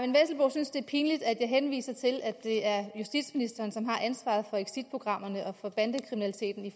synes det er pinligt at jeg henviser til at det er justitsministeren som har ansvaret for exitprogrammerne og bandekriminaliteten i